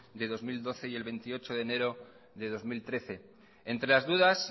de dos mil doce y el veintiocho de enero de dos mil trece entre las dudas